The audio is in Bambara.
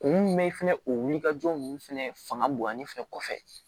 Kun mun mɛ fɛnɛ o wulikajɔ nunnu fɛnɛ fanga bonyana ni fɛ kɔfɛ